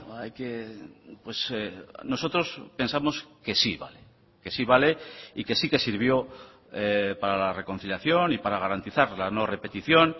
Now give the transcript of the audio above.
hay que nosotros pensamos que sí vale que sí vale y que sí que sirvió para la reconciliación y para garantizar la no repetición